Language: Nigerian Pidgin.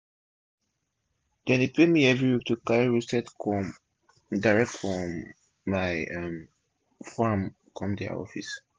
dem dey pay me everi week to carry roasted corn direct from my um form come dia office